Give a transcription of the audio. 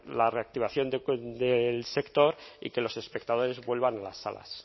la reactivación del sector y que los espectadores vuelvan a las salas